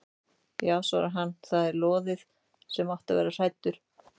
Já svarar hann, það er lóðið, þú átt að vera hræddur.